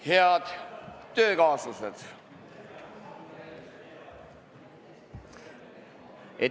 Head töökaaslased!